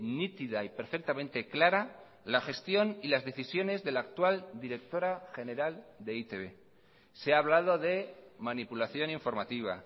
nítida y perfectamente clara la gestión y las decisiones de la actual directora general de e i te be se ha hablado de manipulación informativa